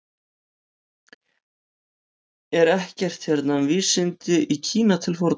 Er ekkert hérna um vísindi í Kína til forna?